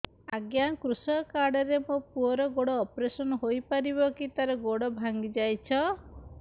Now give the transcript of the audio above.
ଅଜ୍ଞା କୃଷକ କାର୍ଡ ରେ ମୋର ପୁଅର ଗୋଡ ଅପେରସନ ହୋଇପାରିବ କି ତାର ଗୋଡ ଭାଙ୍ଗି ଯାଇଛ